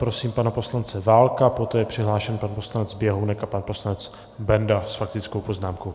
Prosím pana poslance Válka, poté je přihlášen pan poslanec Běhounek a pan poslanec Benda s faktickou poznámkou.